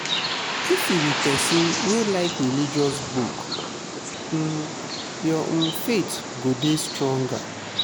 if you be pesin wey like religious books um your um faith go dey stronger.